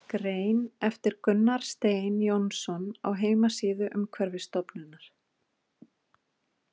Grein eftir Gunnar Stein Jónsson á heimasíðu Umhverfisstofnunar.